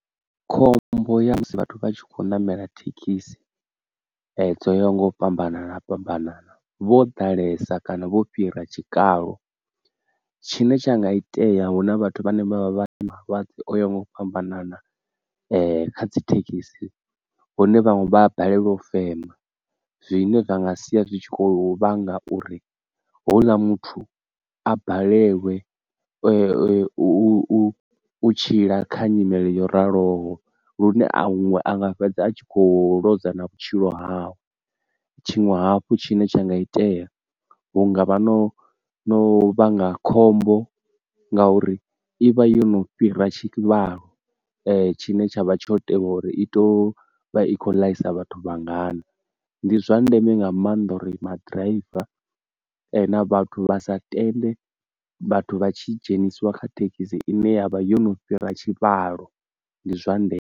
Khombo ya musi vhathu vha tshi khou namela thekhisi dzo ya nga u fhambanana fhambanana vho ḓalesa kana vho fhira tshikalo, tshine tsha nga itea huna vhathu vhane vha vha vha na malwadze o nga u fhambanana ee kha dzi thekhisi hune vhaṅwe vha a balelwa u fema zwine zwa nga sia zwi tshi khou vhanga uri houḽa muthu a balelwe u u tshila kha nyimele yo raloho lune a hu anga fhedza a tshi kho lwozwa na vhutshilo hawe, tshiṅwe hafhu tshine tsha nga itea hunga vha no no vhanga khombo ngauri ivha yo no fhira tshivhalo tshine tshavha tsho tea uri i to vha i khou ḽaisa vhathu vhangana, ndi zwa ndeme nga maanḓa uri ma driver na vhathu vha sa tende vhathu vha tshi dzhenisiwa kha thekhisi ine yavha yo no fhira tshivhalo ndi zwa nde.